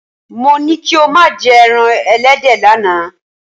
Mo ní kí o má jẹ́ ẹran ẹlẹ́dẹ̀ lánàá.